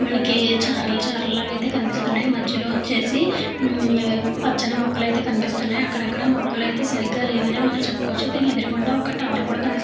మనకి చారలు చాల లాగ అయితే కనిపిస్తున్నాయి. మధ్యలో వచ్చేసి మొక్కలైతే కనిపిస్తున్నాయి. అక్కడక్కడ మొక్కలైతే సరిగ్గా లేవని మనం చెప్పుకోవచ్చు. దీని ఎదురుగుండా ఒక టవర్ కూడా కనిపిస్తుంది.